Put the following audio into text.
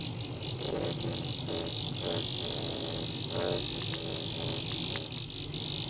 Elínbet, hvernig er veðrið á morgun?